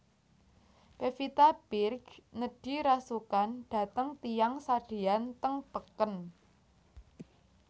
Pevita Pearce nedhi rasukan dhateng tiyang sadean teng peken